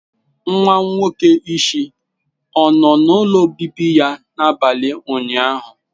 Nwa nwoke isi ọ nọ n'ụlọ obibi ya n'abalị ụnyaahụ?